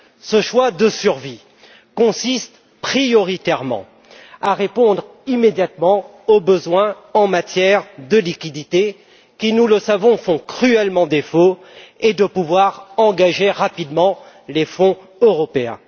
Ce choix de survie consiste en priorité à répondre immédiatement aux besoins en matière de liquidités qui, nous le savons, font cruellement défaut et à pouvoir engager rapidement les fonds européens.